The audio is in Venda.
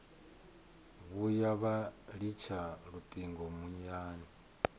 vhuya vha litsha lutingo muyani